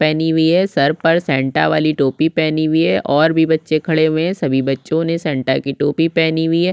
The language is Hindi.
पहनी हुई है सर पर सैंटा वाली टोपी पहनी हुई है ओर भी बच्चे खड़े हुए है सभी बच्चों ने सैंटा की टोपी पहनी हुई है।